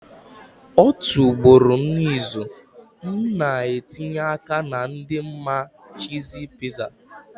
Otu ugboro n'izu, m na-etinye aka na ịdị mma cheesy pizza.